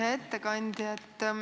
Hea ettekandja!